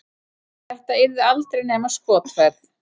Þetta yrði aldrei nema skotferð.